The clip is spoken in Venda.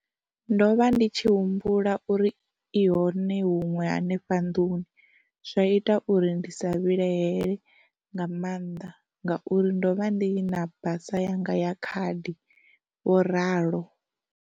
Ndo vha ndi tshi humbula uri i hone huṅwe hanefha nḓuni, zwa ita uri ndi sa vhilahele nga maanḓa ngauri ndo vha ndi na basa yanga ya khadi, vho ralo.